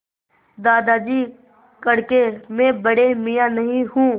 दादाजी कड़के मैं बड़े मियाँ नहीं हूँ